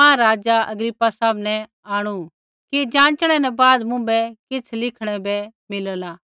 महाराज़ा अग्रिप्पा सामनै आंणु कि ज़ाँचणै न बाद मुँभै किछ़ लिखणै बै मिलला